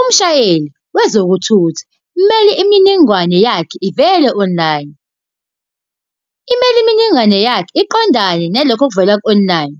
Umshayeli wezokuthutha kumele imininingwane yakhe ivele online. Imele imininingwane yakhe iqondane nalokho okuvela ku-online.